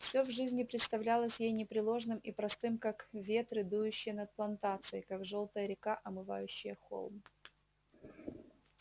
все в жизни представлялось ей непреложным и простым как ветры дующие над плантацией как жёлтая река омывающая холм